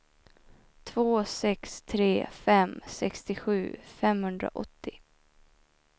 två sex tre fem sextiosju femhundraåttio